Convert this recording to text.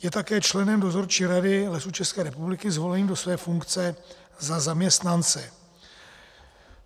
Je také členem dozorčí rady Lesů České republiky zvoleným do své funkce za zaměstnance.